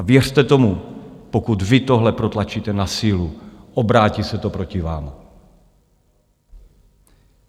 A věřte tomu, pokud vy tohle protlačíte na sílu, obrátí se to proti vám.